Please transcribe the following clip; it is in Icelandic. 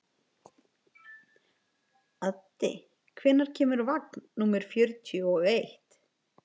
Addi, hvenær kemur vagn númer fjörutíu og eitt?